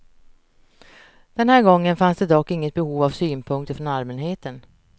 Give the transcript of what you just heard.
Den här gången fanns det dock inget behov av synpunkter från allmänheten.